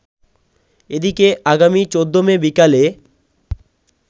এদিকে আগামী ১৪ মে বিকালে